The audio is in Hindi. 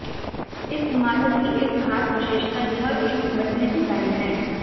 इस इमारत की एक खास विशेषता यह एक सिमटने डिजाइन है